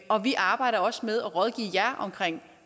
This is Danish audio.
og vi arbejder også med at rådgive jer om